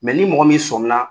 ni mɔgɔ min somi na.